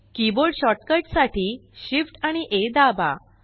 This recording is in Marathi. कीबोर्ड शॉर्ट कट साठी Shift आणि आ दाबा